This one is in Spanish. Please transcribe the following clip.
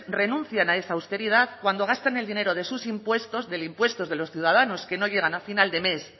renuncian a esa austeridad cuando gastan el dinero de sus impuestos de los impuestos de los ciudadanos que no llegan al final de mes